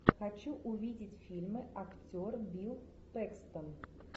хочу увидеть фильмы актер билл пэкстон